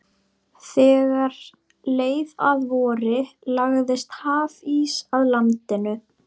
Þegar leið að vori lagðist hafís að landinu.